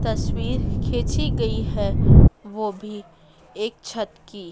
तस्वीर खींची गई है वो भी एक छत की।